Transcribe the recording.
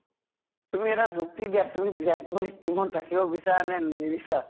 তুমি এটা যুক্তি দিয়া, তুমি বিৰাট কোহলি ক team ত ৰাখিব বিচৰা নে নিবিচৰা ?